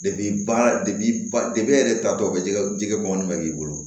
baara de ba de taatɔ bɛ jɛgɛ jɛgɛ bɔ mɛ k'i bolo